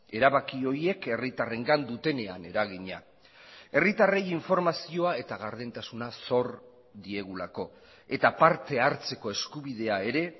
erabaki horiek herritarrengan dutenean eragina herritarrei informazioa eta gardentasuna zor diegulako eta parte hartzeko eskubidea ere